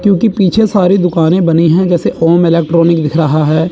क्योंकि पीछे सारी दुकानें बनी है जैसे ओम इलेक्ट्रॉनिक दिख रहा है।